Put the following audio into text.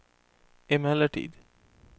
emellertid